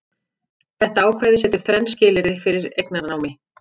Þetta ákvæði setur þrenn skilyrði fyrir eignarnámi.